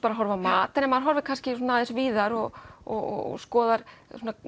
að horfa á mat en ef maður horfir aðeins víðar og og